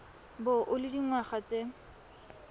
bo o le dingwaga tse